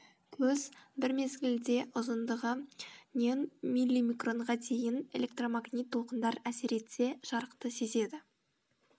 көз бір мезгілде ұзындығы нен миллимикронға дейін электромагнит толқындар әсер етсе жарықты сезеді